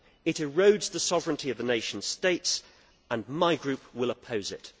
It erodes the sovereignty of the nation states and my group will oppose it.